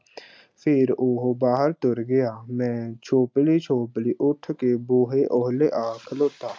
ਫੇਰ ਉਹ ਬਾਹਰ ਤੁਰ ਗਿਆ, ਮੈਂ ਛੋਪਲ਼ੀ-ਛੋਪਲੀ ਉੱਠ ਕੇ ਬੂਹੇ ਓਹਲੇ ਆ ਖਲੋਤਾ।